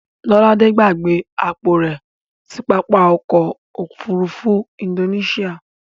Lọ́ládé gbàgbé àpò rẹ̀ sí pápá ọkọ̀ òfurufú Indonesia.